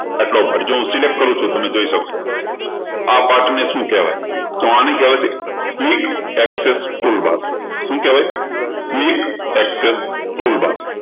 આટલો હું select કરું છું તમે જોઈ શકો છો આ part ને શું કહેવાય તો આને કહેવાય છે quick access toolbar શું કહેવાય quick access toolbar